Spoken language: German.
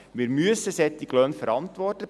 Wir müssen solche Löhne verantworten.